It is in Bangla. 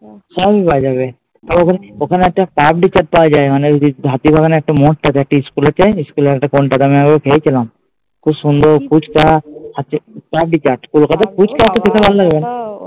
সবই পাওয়া যাবে। ওখানে একটা পাপড়ি চাট পাওয়া যায় মানে যদি হাতিবাগানে একটা মোড় থাকে একটা স্কুল আছে ইস্কুলের একটা একবার খেয়েছিলাম। খুব সুন্দর ফুচকা